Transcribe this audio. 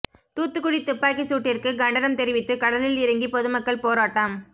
தூத்துக்குடி துப்பாக்கிச் சூட்டிற்கு கண்டனம் தெரிவித்து கடலில் இறங்கி பொதுமக்கள் போராட்டம்